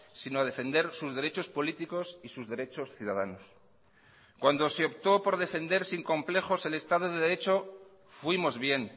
sino a defender sus derechos políticos y sus derechos ciudadanos cuando se optó por defender sin complejos el estado de derecho fuimos bien